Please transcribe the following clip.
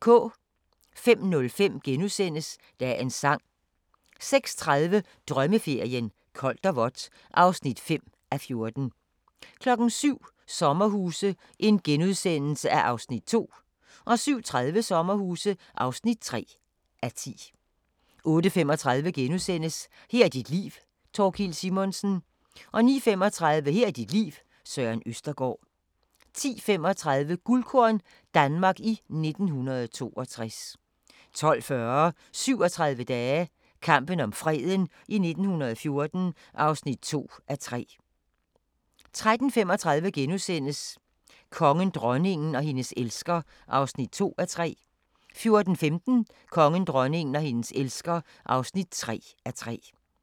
05:05: Dagens Sang * 06:30: Drømmeferien: Koldt og vådt (5:14) 07:00: Sommerhuse (2:10)* 07:30: Sommerhuse (3:10) 08:35: Her er dit liv - Thorkild Simonsen * 09:35: Her er dit liv – Søren Østergaard 10:35: Guldkorn - Danmark i 1962 12:40: 37 dage - kampen om freden i 1914 (2:3) 13:35: Kongen, dronningen og hendes elsker (2:3)* 14:15: Kongen, dronningen og hendes elsker (3:3)